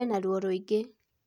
Ena rũo rwingĩ